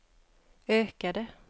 ökade